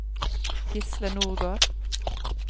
Gisle Nordgård